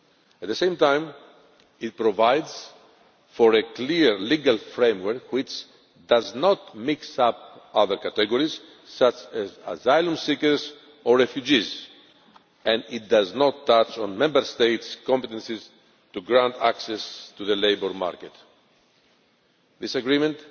At the same time, it provides for a clear legal framework which does not mix up other categories such as asylum seekers or refugees, and it does not touch on Member States' competences to grant access to the labour market. This agreement